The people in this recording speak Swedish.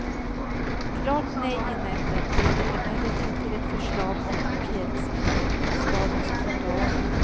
Klart nej i nämnden blev det emellertid till ett förslag om parkeringshinder på stadens trottoarer.